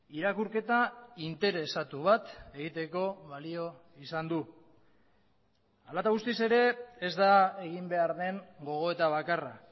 irakurketa interesatu bat egiteko balio izan du hala eta guztiz ere ez da egin behar den gogoeta bakarra